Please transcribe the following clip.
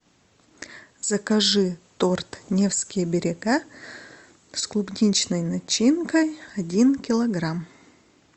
закажи торт невские берега с клубничной начинкой один килограмм